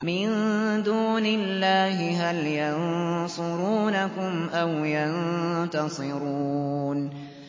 مِن دُونِ اللَّهِ هَلْ يَنصُرُونَكُمْ أَوْ يَنتَصِرُونَ